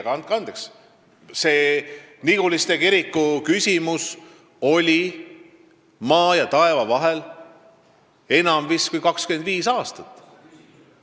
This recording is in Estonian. Aga andke andeks, see Niguliste kiriku küsimus oli maa ja taeva vahel kauem vist kui 25 aastat.